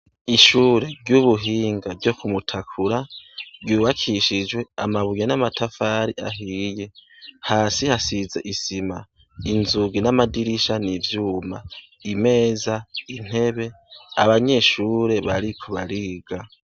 Ishure ry'ubuhinga ryo kumutakura ryubakishijwe amabuye n'amatafari ahiye. Hasi hasize isima. Inzugi n'amadirisha n'ivyuma. Imeza n'intebe, abanyeshure bariko bariga.